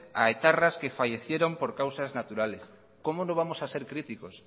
a etarras que fallecieron por causas naturales cómo no vamos a ser críticos